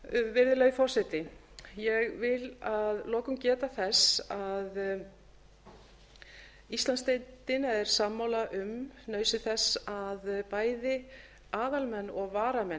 virðulegi forseti ég vil að lokum geta þess að íslandsdeildin er sammála um nauðsyn þess að bæði aðalmenn og varamenn